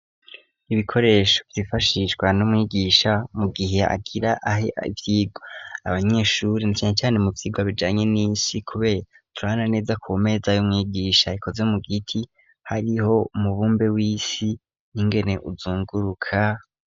Ibikoresho vyifashishwa n'umwigisha mu gihe agira ahe ivyirwa abanyeshuri ncanecane mu vyirwa bijanye n'isi kube turana neza ku meza yo mwigisha ikoze mu giti hariho umubumbe w'isi ntingene uzunguruka.